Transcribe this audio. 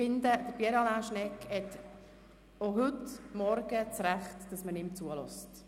Ich finde, Pierre Alain Schnegg hat auch heute Morgen das Recht, dass man ihm zuhört.